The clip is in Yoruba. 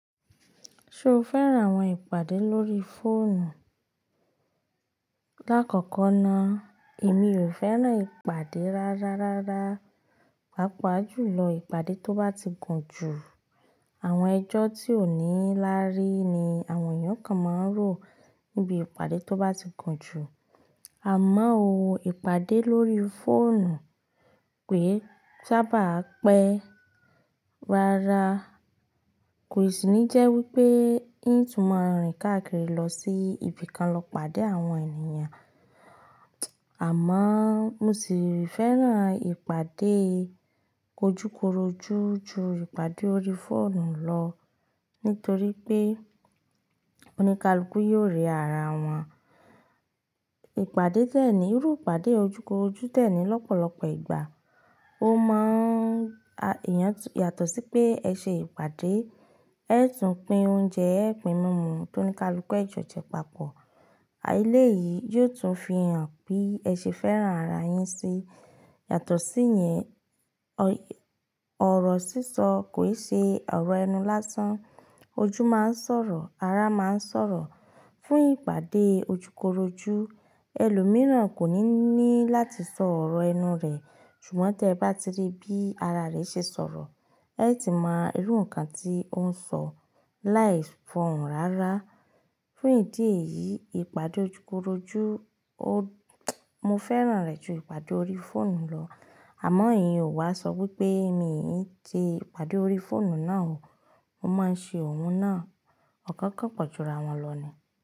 Ṣo fẹ́ran àwọn ìpàdé lórí fóònù? Lákọ̀ọ̀kan náà, èmi ò fẹ́ràn ìpàdé rárá rárá. Pàápàá jùlọ ìpàdé tó bá ti gùn jù. Àwọn ẹjọ́ tí ò ní láárí ni àwọn èèyàn kan máa ń rò níbi ìpàdé tó bá ti gùn jù. Àmọ́ ò ìpàdé lórí fóònù ké sáábà á pẹ́. Rárá, kò ṣíní jẹ́ wípé n tún máa rìn káàkiri lọ sí ibìkan lọ pàdé àwọn ènìyàn. Àmọ́ mo sì rí fẹ́ràn ìpàdé ojúkorojú ju ìpàdé orí fóònù lọ nítorí pé oníkálùkù yóò rí ara wọn. Ìpàdé dẹ́ẹ̀ní, irú ìpàdé ojúkorojú tẹ́ẹ̀ní lọ́pọ̀lọpọ̀ ìgbà, ó máa èèyàn yàtọ̀ sí pé ẹ ṣe ìpàdé, ẹ tún pín oúnjẹ, ẹ pín mímu tó ní káàlùkù ẹ jọ̀jẹ papọ̀. Àìléèyí yóò tún fi hàn pé ẹ ṣe fẹ́ràn ara yín sí. Yàtọ̀ sí yẹn, ọ̀rọ̀ sísọ kò í ṣe ọ̀rọ̀ ẹnu lásán. Ojú máa ń sọ̀rọ̀, ara máa ń sọ̀rọ̀. Fún ìpàdé ojúkorojú, ẹlòmíràn kò ní ní láti sọ ọ̀rọ̀ ẹnu rẹ̀, ṣùgbọ́n tí ẹ bá ti rí bí ara rẹ̀ ṣe sọ̀rọ̀, ẹ sì ti máa mọ irú nǹkan tí ó ń sọ láìs foun rárá. Fún ìdí èyí, ìpàdé ojúkorojú ó-- mo fẹ́ràn rẹ̀ ju ìpàdé orí fóònù lọ. Àmọ́ iyen ò wá sọ wípé mi ò ń ṣe ìpàdé orí fóònù náà o. Mo máa ń ṣe òun náà. Ọ̀kọ̀ọ̀kan pọ̀ jù ra wọn lọ ni.